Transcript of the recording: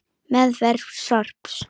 Meðferð sorps